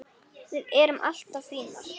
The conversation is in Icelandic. Við erum allar fínar